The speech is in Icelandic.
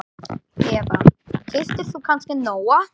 Eva: Keyptir þú kannski Nóa?